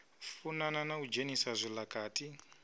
funana na u dzhenisa zwilakati